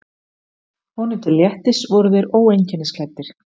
Honum til léttis voru þeir óeinkennisklæddir.